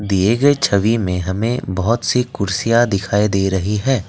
दिए गए छवि में हमें बहोत सी कुर्सियां दिखाई दे रही है।